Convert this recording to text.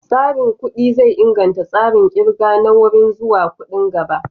Tsarin kuɗi zai inganta tsarin ƙirga na wuri zuwa kuɗin gaba.